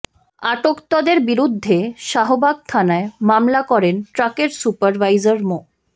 আটকতদের বিরুদ্ধে শাহবাগ থানায় মামলা করেন ট্রাকের সুপার ভাইজার মো